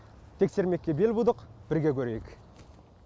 тексермекке бел будық бірге көрейік